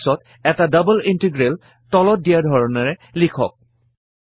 ইয়াৰ পাছত এটা double integral তলত দিয়া ধৰণে লিখক